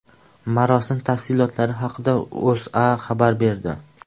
Marosim tafsilotlari haqida O‘zA xabar berdi .